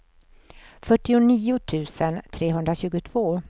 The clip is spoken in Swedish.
fyrtionio tusen trehundratjugotvå